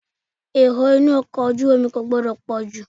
Èrò inú ọkọ̀ ojú omi kò gbọdọ̀ pọ̀ jù.